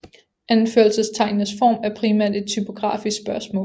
Anførselstegnenes form er primært et typografisk spørgsmål